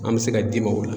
An bɛ se ka dim ola